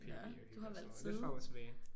Nå du har valgt side?